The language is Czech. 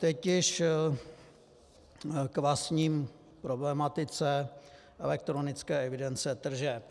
Teď již k vlastní problematice elektronické evidence tržeb.